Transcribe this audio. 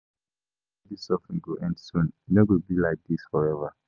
I just know say all dis suffering go soon end, e no go be like dis forever